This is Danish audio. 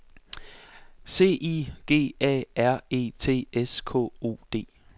C I G A R E T S K O D